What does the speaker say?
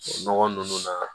Nɔgɔ ninnu na